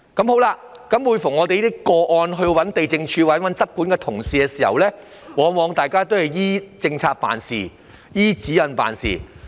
每當我們就這些個案接觸地政總署或執管人員時，他們往往緊依政策及指引辦事。